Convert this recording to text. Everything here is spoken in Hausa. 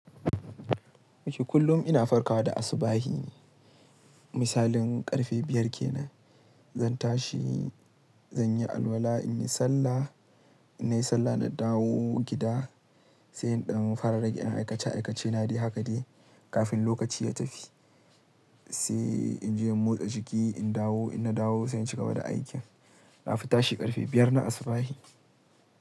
Dake kullum ina farkawa da asubahine. Misalin ƙarfe biyar kenan zan tashi, zan yi alwala, in yi sallah, in nayi sallah na dawo gida sai in ɗan fara rage aikace aikace na dai haka de kafin lokaci ya tafi. Sai in je in motsa jiki, in dawo, in na dawo sai in cigaba da aikin. Na fi tashi ƙarfe biyar na asubahi.